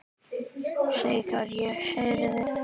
Þegar ég heyrði